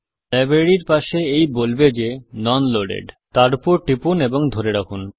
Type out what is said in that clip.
লাইব্রেরির পাশে এই বলবে যে নোন লোডেড তার ওপর টিপুন এবং ধরে রাখুন